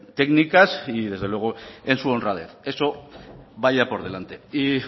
técnicas y desde luego en su honradez eso vaya por delante y